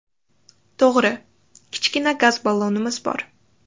To‘g‘ri, kichkina gaz ballonimiz bor.